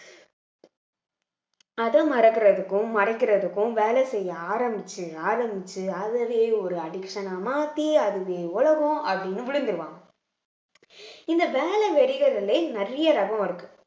அத மறக்கறதுக்கும் மறைக்கறதுக்கும் வேலை செய்ய ஆரம்பிச்சு ஆரம்பிச்சு அதுலயே ஒரு addiction ஆ மாத்தி அதுவே உலகம் அப்படின்னு விழுந்துருவாங்க இந்த வேலை வெறிகளிலே நிறைய ரகம் இருக்கு